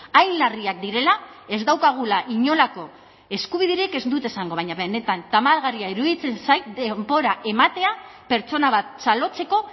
hain larriak direla ez daukagula inolako eskubiderik ez dut esango baina benetan tamalgarria iruditzen zait denbora ematea pertsona bat txalotzeko